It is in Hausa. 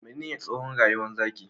Menene tsowon rayuwar zaki?